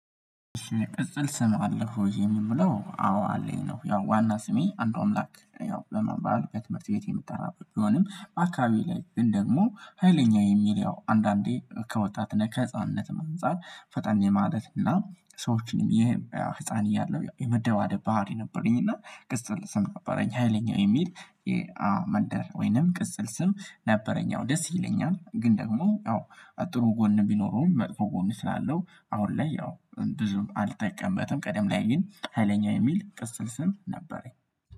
ቅጽል ስም አለ ወይ የምንብለው አዎ አለኝ ነው? ያው ዋና ስሜ አንድ ኦምላክ ያው በመባል ከትምህርት ቤት የምትጠራበት ቢሆንም አካባቢ ላይ ደግሞ ሀይለኛ የሚለው አንዳንዴ ከወጣትና ከህፃንነትም አንፃር ፈጣኔ ማለት እና ሰዎችንም ይሄ ህፃን እያለሁ የመደባደብ ባህሪ ነበረኝ። እና ቅጽል ስም ነበረኝ ሀይለኛው የሚል የመንደር ወይንም ቅጽል ስም ነበረኝ። ደስ ይለኛል ግን ደግሞ ጥሩ ጎን ቢኖረውም መጥፎ ጎን እስላለሁ አሁን ላይ ያው ብዙም አልጠቀምበትም። ቀደም ላይ ግን ሀይለኛ የሚል ቅስል ስም ነበረኝ